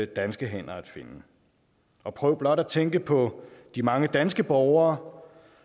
danske hænder at finde og prøv blot at tænke på de mange danske borgere